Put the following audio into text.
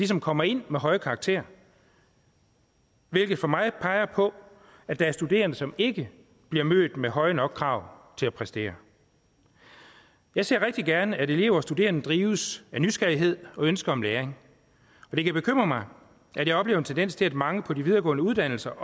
som kommer ind med høje karakterer hvilket for mig peger på at der er studerende som ikke bliver mødt med høje nok krav til at præstere jeg ser rigtig gerne at elever og studerende drives af nysgerrighed og ønske om læring og det kan bekymre mig at jeg oplever en tendens til at mange på de videregående uddannelser